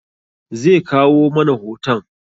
Ze kawo mana hoton